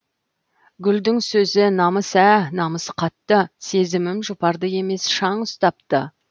гүлдің сөзі намыс ә намыс қатты сезімім жұпарды емес шаң ұстапты